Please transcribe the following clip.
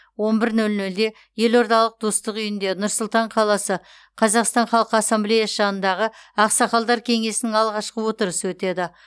он бір нөл нөлде елордалық достық үйінде нұр сұлтан қаласы қазақстан халқы ассамблеясы жанындағы ақсақалдар кеңесінің алғашқы отырысы өтеді